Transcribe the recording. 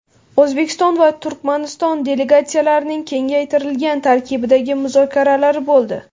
O‘zbekiston va Turkmaniston delegatsiyalarining kengaytirilgan tarkibdagi muzokaralari bo‘ldi.